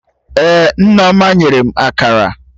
Ee, Nneoma nyere m Akara